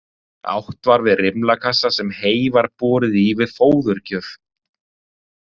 Átt var við rimlakassa sem hey var borið í við fóðurgjöf.